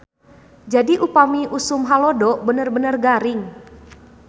Jadi upami usum halodo bener-bener garing.